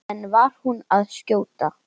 En var hún að skjóta?